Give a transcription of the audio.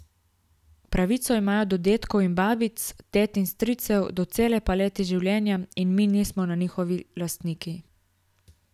Pravico imajo do dedkov in babic, tet in stricev, do cele palete življenja, in mi nismo njihovi lastniki.